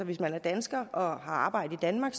hvis man er dansker og har arbejde i danmark